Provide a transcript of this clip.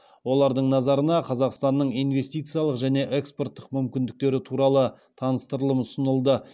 олардың назарына қазақстанның инвестициялық және экспорттық мүмкіндіктері туралы таныстырылым ұсынылды